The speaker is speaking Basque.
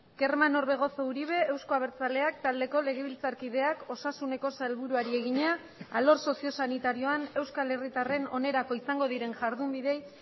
kerman orbegozo uribe euzko abertzaleak taldeko legebiltzarkideak osasuneko sailburuari egina alor soziosanitarioan euskal herritarren onerako izango diren jardunbideei